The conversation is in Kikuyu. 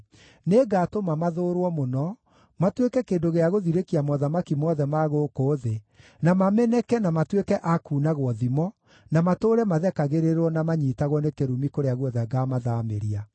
Nĩngatũma mathũũrwo mũno, matuĩke kĩndũ gĩa gũthirĩkia mothamaki mothe ma gũkũ thĩ, na mameneke na matuĩke a kuunagwo thimo, na matũũre mathekagĩrĩrwo na manyiitagwo nĩ kĩrumi kũrĩa guothe ngaamathaamĩria.